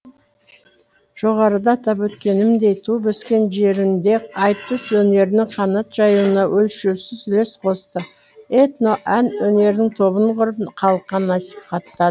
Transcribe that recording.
жоғарыда атап өткенімдей туып өскен жерінде айтыс өнерінің қанат жаюына өлшеусіз үлес қосты этно ән өнерінің тобын құрып халыққа насихаттады